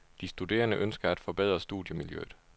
De studerende ønsker at forbedre studiemiljøet.